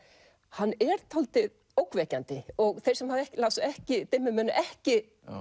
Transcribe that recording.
hann er dálítið ógnvekjandi og þeir sem lásu ekki dimmu munu ekki